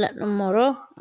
la’nummoro addi addi fiche aankera leellanno?